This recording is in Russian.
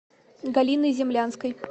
галиной землянской